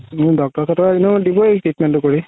doctor ৰ তাতো এনেও দিবয়ে treatment তো কৰি